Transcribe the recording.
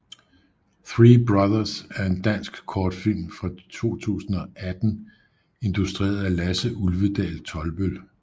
Three brothers er en dansk kortfilm fra 2018 instrueret af Lasse Ulvedal Tolbøll